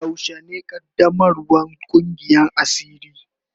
Yaushe ne qaddamarwan Kungiyan asiri.